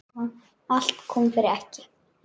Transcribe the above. Allt kom fyrir ekki.